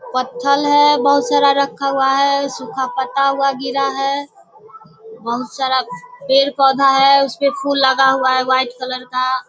पत्थर है बहुत सारा रखा हुआ हैं सुखा पत्ता हुआ गिरा है बहुत सारा पेड़-पौधा है उसपे फूल लगा हुआ है व्हाइट कलर का।